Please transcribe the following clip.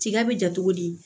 Tiga bɛ ja cogo di